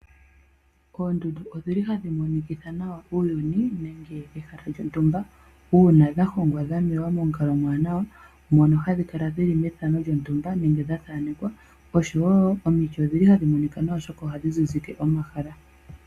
Oondundu odhi li hadhi monikitha nawa uuyuni, nenge ehala lyontumba, uuna dha hongwa, dha mewa momukalo omwaanawa, mono hadhi kala dhili methano lyontumba nenge dha thaanekwa. Omiti wo odhi li hadhi monika nawa, oshoka ohadhi zizike omahala.